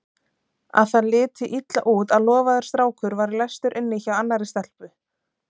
Að það liti illa út að lofaður strákur væri læstur inni hjá annarri stelpu.